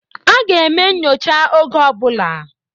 A ga-eme nyocha oge ọ bụla